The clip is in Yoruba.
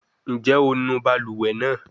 Njẹ o nu baluwe naa?